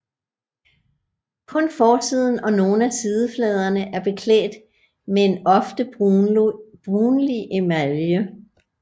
Kun forsiden og noget af sidefladerne er beklædt med en ofte brunlig emalje